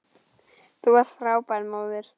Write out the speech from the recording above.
Þú varst frábær móðir.